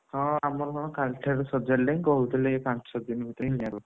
ହଁ ଆମର ହଁ କାଲିଠାରୁ ସଜାଡ଼ିଲେଇଁ, କହୁଥିଲେ ଏଇ ପାଞ୍ଚ ଦିନ ଭିତରେ ହିଁ ଦିଆହବ।